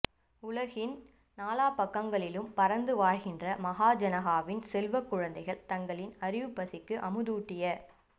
உலகின் நாலாபாகங்களிலும் பரந்து வாழுகின்ற மகாஜனாகவின் செல்வக் குழந்தைகள் தங்களின் அறிவுப்பசிக்கு அமுதூட்டிய